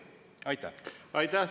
Aitäh!